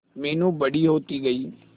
मीनू बड़ी होती गई